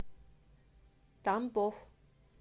тамбов